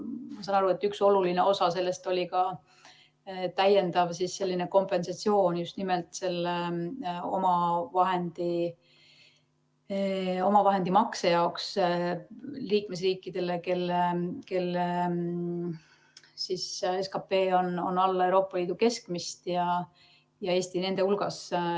Ma saan aru, et üks oluline osa sellest oli ka täiendav kompensatsioon just nimelt selle omavahendimakse jaoks liikmesriikidele, kelle SKP on alla Euroopa Liidu keskmist, ja Eesti on nende hulgas.